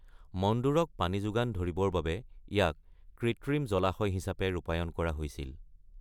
মণ্ডোৰক পানী যোগান ধৰিবৰ বাবে ইয়াক কৃত্ৰিম জলাশয় হিচাপে ৰূপায়ন কৰা হৈছিল।